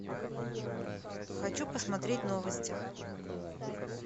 хочу посмотреть новости